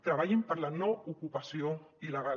treballin per la no ocupació il·legal